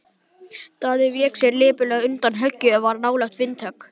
Daði vék sér lipurlega undan og höggið varð hlálegt vindhögg.